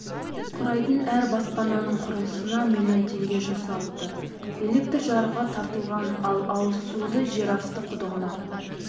құрайтын әр баспананың құрылысына млн теңге жұмсалыпты электр жарығы тартылған ал ауызсуды жер асты құдығынан